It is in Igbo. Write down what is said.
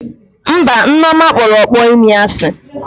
Mba, Nneoma kpọrọ ọkpọ imi asị